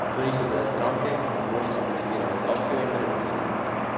To niso bile stranke, ki bi množice motivirale z akcijo in premislekom!